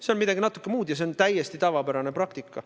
See on midagi natuke muud ja see on täiesti tavapärane praktika.